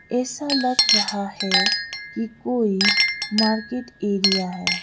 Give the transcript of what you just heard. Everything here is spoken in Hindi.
ऐसा लग रहा है कि कोई मार्केट एरिया है।